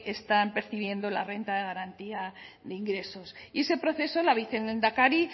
están percibiendo la renta de garantía de ingresos y ese proceso la vicelehendakari